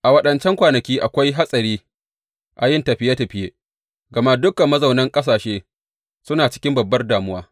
A waɗancan kwanaki akwai hatsari a yin tafiye tafiye, gama dukan mazaunan ƙasashe suna cikin babbar damuwa.